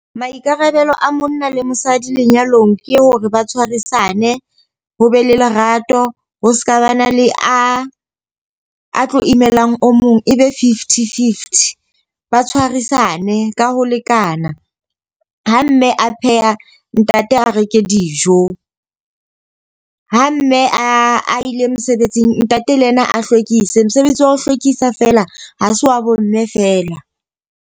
Maikarabelo a monna le mosadi lenyalong ke hore ba tshwarisane, ho be le lerato, ho seka ba na le a tlo imelang o mong. E be fifty-fifty, ba tshwarisane ka ho lekana. Ha mme a pheha ntate a reke dijo. Ha mme a ile mosebetsing, ntate le yena a hlwekise. Mosebetsi wa ho hlwekisa fela ha se wa bo mme fela.